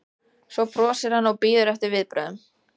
Svo brosir hann og bíður eftir viðbrögðum